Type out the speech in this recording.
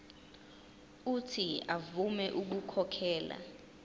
uuthi avume ukukhokhela